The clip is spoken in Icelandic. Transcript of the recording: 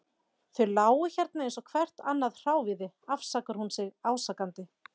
Þau lágu hérna eins og hvert annað hráviði, afsakar hún sig ásakandi.